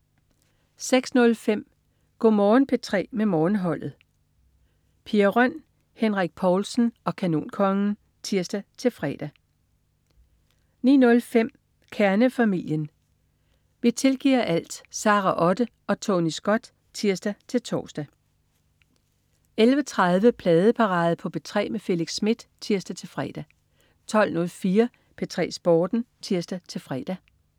06.05 Go' Morgen P3 med Morgenholdet. Pia Røn, Henrik Povlsen og Kanonkongen (tirs-fre) 09.05 Kernefamilien. Vi tilgiver alt! Sara Otte og Tony Scott (tirs-tors) 11.30 Pladeparade på P3 med Felix Smith (tirs-fre) 12.04 P3 Sporten (tirs-fre)